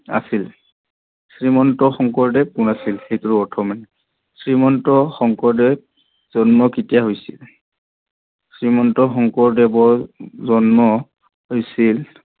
আছিল। শ্ৰীমন্ত শংকৰদেৱ কোন আছিল সেইটোৰ অৰ্থ মানে শ্ৰীমন্ত শংকৰদেৱৰ জন্ম কেতিয়া হৈছিল, শ্ৰীমন্ত শংকৰদেৱৰ জন্ম হৈছিল